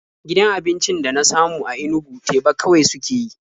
Gidan abincin da na samu a Inugu teba kawai suke yi.